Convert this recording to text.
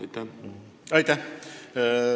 Aitäh!